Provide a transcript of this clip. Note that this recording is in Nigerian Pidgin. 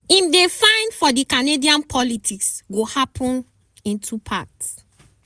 im dey find for di canadian politics go happun in two parts.